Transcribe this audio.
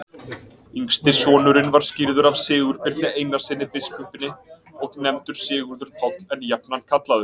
Yngsti sonurinn var skírður af Sigurbirni Einarssyni biskupi og nefndur Sigurður Páll, en jafnan kallaður